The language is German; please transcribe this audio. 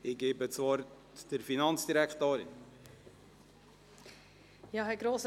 Ich erteile der Finanzdirektorin das Wort.